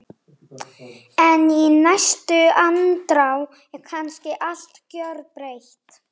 En í næstu andrá er kannski allt gjörbreytt.